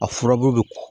A furabulu bɛ